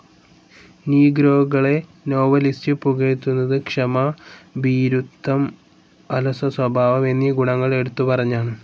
നീഗ്രോകളെ novelist പുകഴ്ത്തുന്നത് ക്ഷമ, ഭീരുത്വം, അലസസ്വഭാവം എന്നീ ഗുണങ്ങൾ എടുത്തുപറഞ്ഞാണ്.